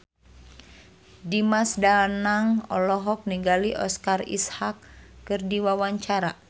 Dimas Danang olohok ningali Oscar Isaac keur diwawancara